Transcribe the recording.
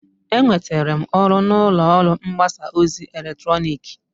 Enwetere m ọrụ n'ụlọ ọrụ mgbasa ozi eletrọnịkị.